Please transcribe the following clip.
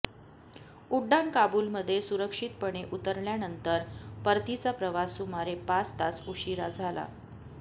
उड्डाण काबूलमध्ये सुरक्षितपणे उतरल्यानंतर परतीचा प्रवास सुमारे पाच तास उशीरा झाला